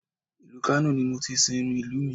Ìlú Kano ni mo ti sìnrú ìlú